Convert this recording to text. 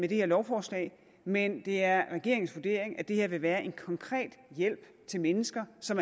det her lovforslag men det er regeringens vurdering at det her vil være en konkret hjælp til mennesker som